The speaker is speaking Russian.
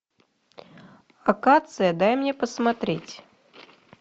акация дай мне посмотреть